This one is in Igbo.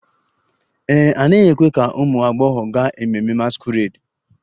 Ee e, a naghị ekwe ka ụmụ agbọghọ gaa ememme masquerade